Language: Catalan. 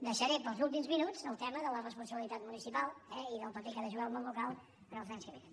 deixaré per als últims minuts el tema de la responsabilitat municipal i del paper que ha de jugar el món local en els anys que vénen